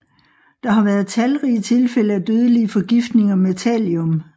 Der har været talrige tilfælde af dødelige forgiftninger med thallium